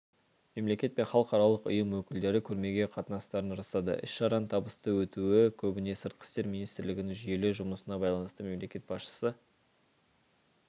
мемлекет пен халықаралық ұйым өкілдері көрмеге қатысатындарын растады іс-шараның табысты өтуі көбіне сыртқы істер министрлігінің жүйелі жұмысына байланысты мемлекет басшысы